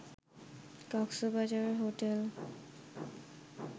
Cox's Bazar hotel